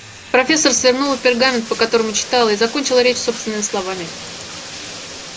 профессор свернула пергамент по которому читала и закончила речь собственными словами